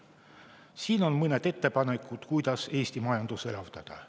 Siin on mõned ettepanekud, kuidas Eesti majandust elavdada.